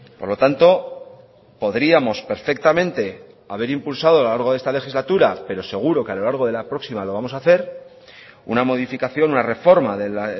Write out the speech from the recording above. por lo tanto podríamos perfectamente haber impulsado a lo largo de esta legislatura pero seguro que a lo largo de la próxima lo vamos a hacer una modificación una reforma del